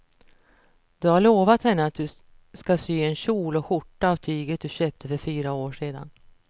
Du har lovat henne att du ska sy en kjol och skjorta av tyget du köpte för fyra år sedan.